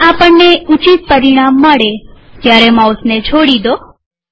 જયારે આપણને ઉચિત પરિમાણ મળે ત્યારે માઉસને છોડી ડો